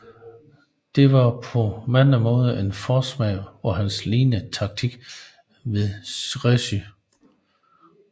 Dette var på mange måder en forsmag på hans lignende taktik ved Crécy